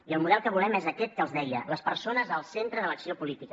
i el model que volem és aquest que els deia les persones al centre de l’acció política